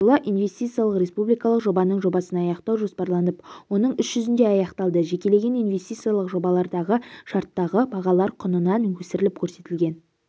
жылы инвестициялық республикалық жобаның жобасын аяқтау жоспарланып оның іс жүзінде аяқталды жекелеген инвестициялық жобалардағы шарттағы бағалар құнынан өсіріліп көрсетілген